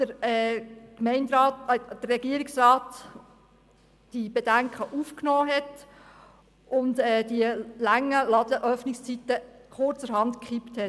Wir sind froh, dass der Regierungsrat die Bedenken aufgenommen und die langen Ladenöffnungszeiten kurzerhand gekippt hat.